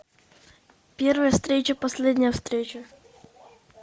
первая встреча последняя встреча